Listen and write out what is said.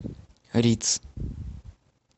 риц